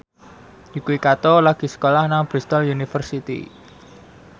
Yuki Kato lagi sekolah nang Bristol university